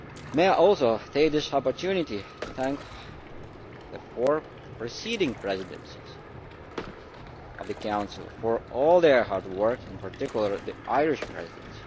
May I also take this opportunity to thank the four preceding presidencies of the Council for all their hard work, in particular the Irish Presidency.